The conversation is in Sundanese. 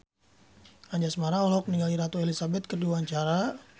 Anjasmara olohok ningali Ratu Elizabeth keur diwawancara